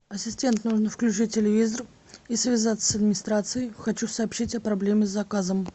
ассистент нужно включить телевизор и связаться с администрацией хочу сообщить о проблеме с заказом